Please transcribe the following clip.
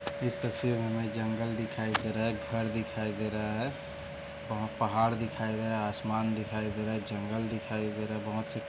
इस तस्वीर मे हमे जंगल दिखाई दे रहा है घर दिखाई दे रहा हैऔर पहाड़ दिखाई दे रहा है आसमान दिखाई दे रहा है जंगल दिखाई दे रहा है बहुत से --